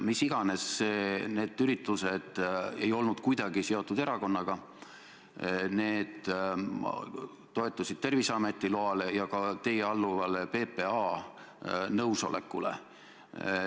Mis iganes, need üritused ei olnud kuidagi seotud meie erakonnaga, need toetusid Terviseameti loale ja ka teile alluva PPA nõusolekule.